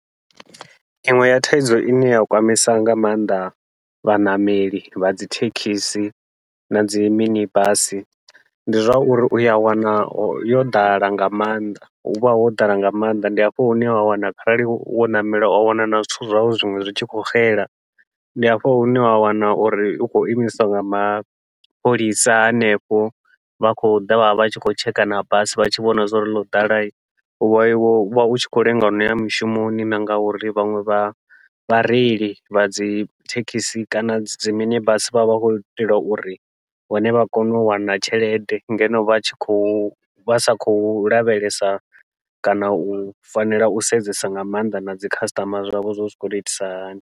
Iṅwe ya thaidzo ine ya kwamisa nga maanḓa vhaṋameli vha dzi thekhisi nadzi mini basi, ndi zwa uri uya wana yo ḓala nga maanḓa huvha ho ḓala nga maanḓa ndi hafho hune wa wana kharali wo ṋamela wa wana na zwithu zwau zwiṅwe zwi tshi khou xela, ndi hafho hune wa wana uri u khou imisiwa nga mapholisa hanefho vha khou ḓa vha vha vha tshi khou tsheka na basi vha tshi vhona zwa uri ḽo ḓala uvha u tshi khou lenga u noya mishumoni. Na ngauri vhaṅwe vha vhareili vha dzi thekhisi kana dzi mini basi vha vha vha khou itela uri vhone vha kone u wana tshelede, ngeno vha tshi khou vha sa khou lavhelesa kana u fanela u sedzesa nga maanḓa nadzi khasiṱama zwavho zwa uri zwi khou to itisa hani.